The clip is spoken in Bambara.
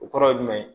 O kɔrɔ ye jumɛn ye